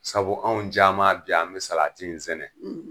Sabu anw caman bi yan an mi in sɛnɛ.